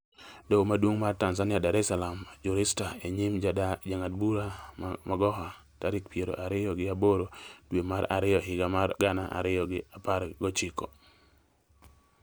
Doho Maduong' mar Tanzania Dar es Salaam rujista e nyim Jang'ad bura Magoha, tarik piero ariyo gi aboro dwe mar ariyo higa mar gana ariyo gi apar gochiko